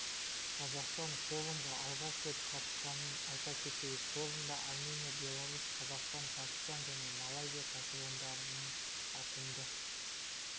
қазақстан форумға алғаш рет қатысқанын айта кетейік форумда армения беларусь қазақстан пәкістан және малайзия кәсіпорындарының ауқымды